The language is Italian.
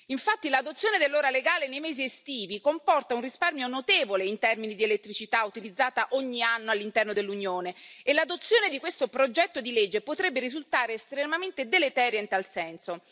Infatti, l'adozione dell'ora legale nei mesi estivi comporta un risparmio notevole in termini di elettricità utilizzata ogni anno all'interno dell'Unione e l'adozione di questo progetto di legge potrebbe risultare estremamente deleteria in tal senso.